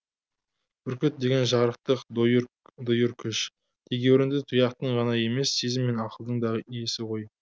бүркіт деген жарықтық дойыр күш тегеурінді тұяқтың ғана емес сезім мен ақылдың да иесі ғой